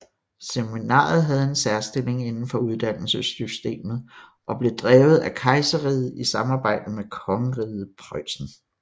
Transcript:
Seminaret havde en særstilling indenfor uddannelsessystemet og blev drevet af kejserriget i samarbejde med kongeriget Preussen